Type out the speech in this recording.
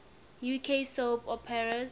uk soap operas